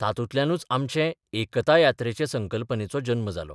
तातूंतल्यानच आमचे 'एकता यात्रे'चे संकल्पनेचो जल्म जालो.